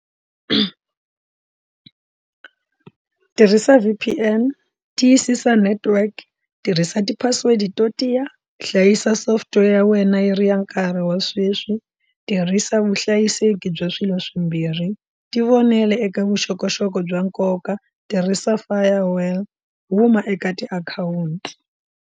Tirhisa V_P_N, tiyisisa network, tirhisa ti password to tiya, hlayisa software ya wena yi ri ya nkarhi wa sweswi, tirhisa vuhlayiseki bya swilo swimbirhi tivonela eka vuxokoxoko bya nkoka, tirhisa firewall, huma eka tiakhawunti.